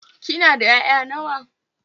Kina da 'ya'ya nawa?